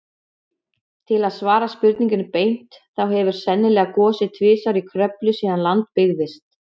Til að svara spurningunni beint, þá hefur sennilega gosið tvisvar í Kröflu síðan land byggðist.